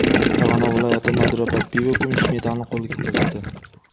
Farg‘ona viloyati Nodira Parpiyeva kumush medalni qo‘lga kiritdi.